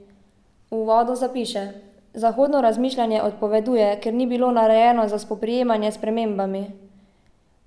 V uvodu zapiše: "Zahodno razmišljanje odpoveduje, ker ni bilo narejeno za spoprijemanje s spremembami.